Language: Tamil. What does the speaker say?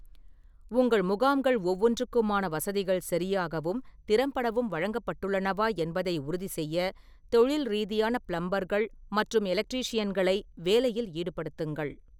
உங்கள் முகாம்கள் ஒவ்வொன்றுக்குமான வசதிகள் சரியாகவும் திறம்படவும் வழங்கப்பட்டுள்ளனவா என்பதை உறுதிசெய்ய தொழில் ரீதியான பிளம்பர்கள் மற்றும் எலக்ட்ரீஷியன்களை வேலையில் ஈடுபடுத்துங்கள்.